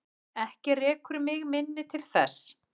Ekki rekur mig minni til þess.